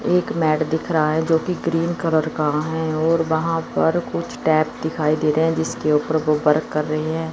एक मैट दिख रहा है जो की क्रीम कलर का है और वहां पर कुछ टैप दिखाई दे रहे हैं जिसके ऊपर वो वर्क कर रहे हैं।